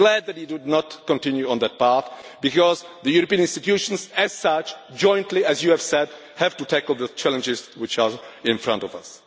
send. I am glad we will not continue on that path because the European institutions as such jointly, as you have said have to tackle the challenges which are in front of